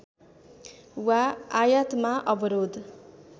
वा आयातमा अवरोध